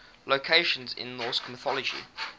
locations in norse mythology